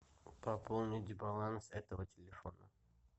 пополнить баланс этого телефона